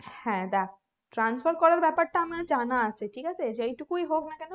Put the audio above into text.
হ্যাঁ দেখ transfer করার ব্যাপারটা আমার জানা আছে ঠিক আছে যেই টুকুই হোক না কেন